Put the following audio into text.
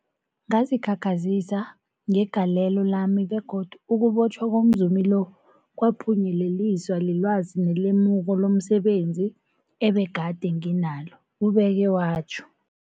Ngazikhakhazisa ngegalelo lami, begodu ukubotjhwa komzumi lo kwaphunyeleliswa lilwazi nelemuko lomse benzi ebegade nginalo, ubeke watjho.